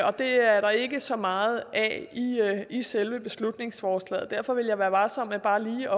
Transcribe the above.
og det er der ikke så meget af i selve beslutningsforslaget derfor vil jeg være varsom med bare lige